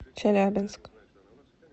челябинск